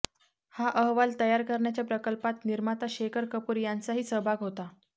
हा अहवाल तयार करण्याच्या प्रकल्पात निर्माता शेखर कपूर यांचाही सहभाग होता